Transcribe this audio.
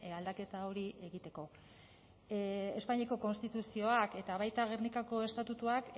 aldaketa hori egiteko espainiako konstituzioak eta baita gernikako estatutuak